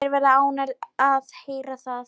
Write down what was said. Þeir verða ánægðir að heyra það.